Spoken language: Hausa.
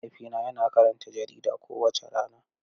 Mahaifina yana karanta jarida kowace rana.